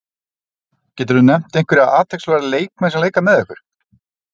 Geturðu nefnt einhverja athyglisverða leikmenn sem leika með ykkur?